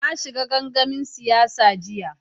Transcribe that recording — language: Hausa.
Na shiga gangamin siyasa jiya.